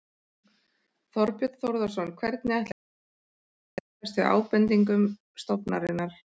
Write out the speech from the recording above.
Þorbjörn Þórðarson: Hvernig ætlar ríkisstjórnin að bregðast við ábendingum stofnunarinnar?